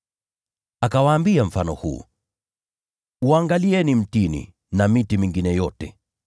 Akawaambia mfano huu: “Uangalieni mtini na miti mingine yote.